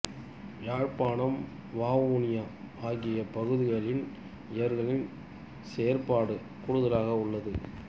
யாழ்ப்பாணம் வவுனியா ஆகிய பகுதிகளில் இவர்களின் செயற்பாடு கூடுதலாக உள்ளது